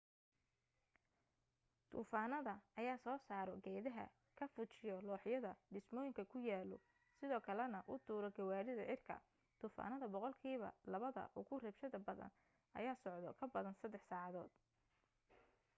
duufaanada ayaa soo saaro geedaha ka fujiyo looxyada dhismooyinka ku yaalo sidoo kale na u tuuro gawaarida cirka duufaanada boqolkiiba labada ugu rabshada badan ayaa socdo ka badan saddex saacadood